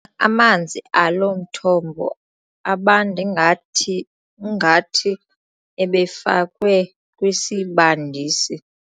Amanzi alo mthombo abanda ingathi ingathi ebefakwe kwisibandisi.